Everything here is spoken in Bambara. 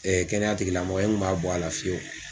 kɛnɛya tigi lamɔgɔ n kun b'a bɔ a la fiyewu.